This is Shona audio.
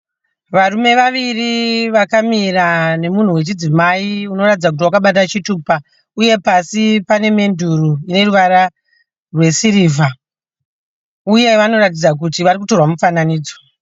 Varume vaviri vakamira nemunhu wechidzimai unoratidza kuti wakabata chitupa uye pasi pane menduri ine ruvara rwesirivha uye vanoratidza kuti varikutorwa mifananidzo.